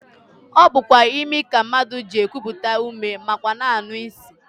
Ọ bụkwa imi ka mmadụ ji ekupụta ume nakwa anụ isi